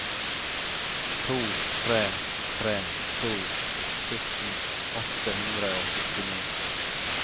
to tre tre to sytten åtte hundre og syttini